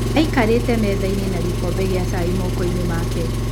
Aikarĩte metha-inĩ na gĩkombe kĩa cai moko-inĩ make.